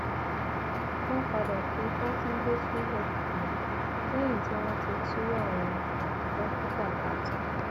wọn padà fi fàtúnde sílẹ um lẹyìn tí wọn ti tú àwọn um dókítà ká tán